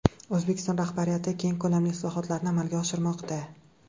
O‘zbekiston rahbariyati keng ko‘lamli islohotlarni amalga oshirmoqda.